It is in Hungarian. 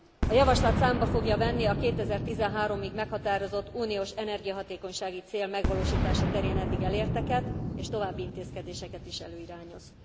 A javaslat számba fogja venni a 2013 ig meghatározott uniós energiahatékonysági cél megvalósítása terén eddig elérteket, és további intézkedéseket is előirányoz.